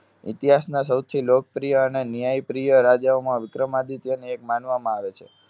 ઇતિહાસના સૌથી લોકપ્રિય અને ન્યાયપ્રિય રાજાઓમાં વિક્રમાદિત્યને એક માનવામાં આવે છે.